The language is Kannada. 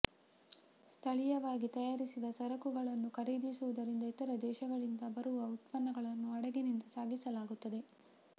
ಸ್ಥಳೀಯವಾಗಿ ತಯಾರಿಸಿದ ಸರಕುಗಳನ್ನು ಖರೀದಿಸುವುದರಿಂದ ಇತರ ದೇಶಗಳಿಂದ ಬರುವ ಉತ್ಪನ್ನಗಳನ್ನು ಹಡಗಿನಿಂದ ಸಾಗಿಸಲಾಗುತ್ತದೆ